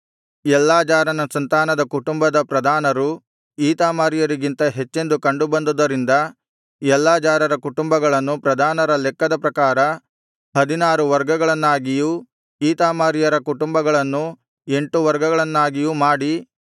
ಎಲ್ಲಾಜಾರನ ಸಂತಾನದ ಕುಟುಂಬ ಪ್ರಧಾನರು ಈತಾಮಾರ್ಯರಿಗಿಂತ ಹೆಚ್ಚೆಂದು ಕಂಡು ಬಂದುದರಿಂದ ಎಲ್ಲಾಜಾರರ ಕುಟುಂಬಗಳನ್ನು ಪ್ರಧಾನರ ಲೆಕ್ಕದ ಪ್ರಕಾರ ಹದಿನಾರು ವರ್ಗಗಳನ್ನಾಗಿಯೂ ಈತಾಮಾರ್ಯರ ಕುಟುಂಬಗಳನ್ನು ಎಂಟು ವರ್ಗಗಳನ್ನಾಗಿಯೂ ಮಾಡಿ